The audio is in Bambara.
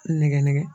Nɛgɛ nɛgɛ